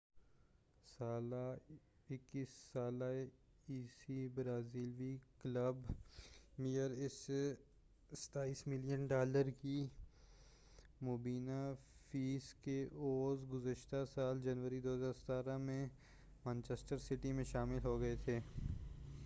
21 سالہ عیسیٰ برازیلی کلب پلمیراس سے 27 ملین ڈالر کی مبینہ فیس کے عوض گذشتہ سال جنوری 2017 میں مانچسٹر سٹی میں شامل ہو گئے تھے